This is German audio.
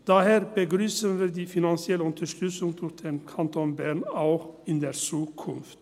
Daher begrüssen wir die finanzielle Unterstützung durch den Kanton Bern auch in der Zukunft.